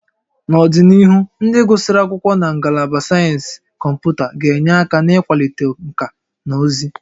N'ọdịnihu, ndị gụsịrị akwụkwọ na Ngalaba Sayensị Kọmputa ga-enye aka n'ịkwalite nkà na ụzụ